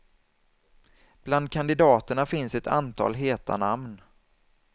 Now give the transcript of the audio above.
Bland kandidaterna finns ett antal heta namn.